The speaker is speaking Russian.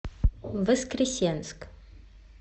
воскресенск